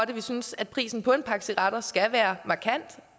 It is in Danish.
det vi synes at prisen på en pakke cigaretter skal være markant